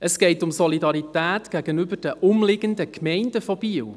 Es geht um die Solidarität mit den umliegenden Gemeinden von Biel.